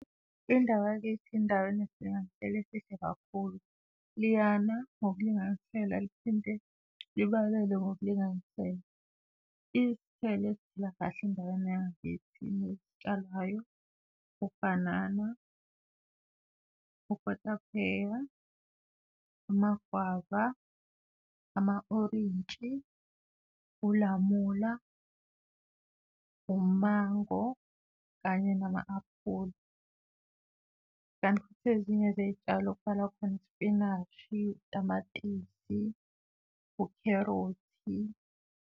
Indawo yakithi indawo enesilinganiselo esihle kakhulu. Liyana ngokulinganisela, liphinde libalele ngokulinganisela. Isithelo kahle endaweni yangakithi nesitshalwayo, ubhanana, ukotapheya, amagwava, ama-orintshi, ulamula, umango kanye nama-aphula kanti futhi ezinye zey'tshalo kubalwa khona isipinashi, tamatisi, ukherothi.